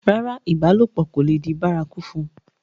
rárá, ìbálòpọ̀ kò le di bárakú fún un